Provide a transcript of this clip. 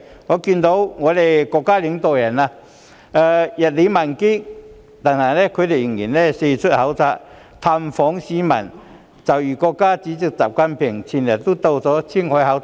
我看到國家領導人日理萬機，但他們仍然四出考察、探訪市民，就如國家主席習近平日前到了青海考察。